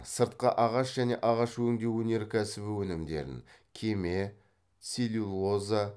сыртқы ағаш және ағаш өңдеу өнеркәсібі өнімдерін кеме целлюлоза